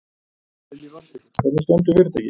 Lillý Valgerður: Hvernig stendur fyrirtækið?